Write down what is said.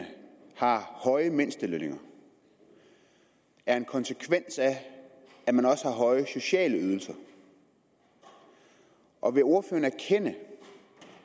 har høje mindstelønninger er en konsekvens af at man også har høje sociale ydelser og vil ordføreren erkende